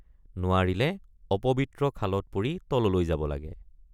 নোৱাৰিলে অপবিত্ৰ খালত পৰি তললৈ যাব লাগে।